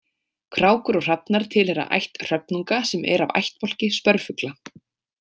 Krákur og hrafnar tilheyra ætt hröfnunga sem er af ættbálki spörfugla.